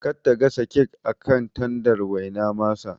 Kar ta gasa kek akan tandar waina masa